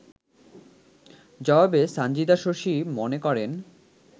জবাবে সানজিদা শশী মনে করেন